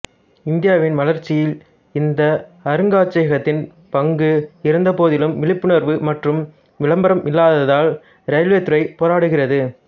இந்தியாவின் வளர்ச்சியில் இந்த அருங்காட்சியகத்தின் பங்கு இருந்தபோதிலும் விழிப்புணர்வு மற்றும் விளம்பரம் இல்லாததால் இரயில்வே துறைப் போராடுகிறது